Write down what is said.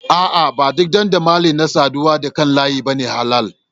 A'a, ba duk dandamali na saduwa da kan layi ba ne halal.